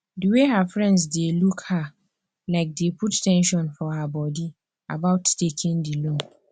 they way her friends dey look her um dey put ten sion for her body about taking the loan